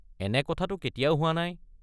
এনে কথাটো কেতিয়াও হোৱা নাই।